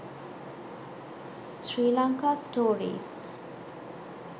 sri lanka stories